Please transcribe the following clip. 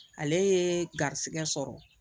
Ale ye garisigɛ sɔrɔ